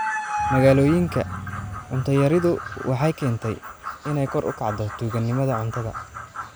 Magaalooyinka, cunto yaridu waxay keentay inay kor u kacdo tuuganimada cuntada.